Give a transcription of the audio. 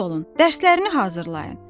Tez olun, dərslərini hazırlayın!